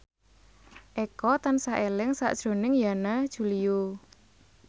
Eko tansah eling sakjroning Yana Julio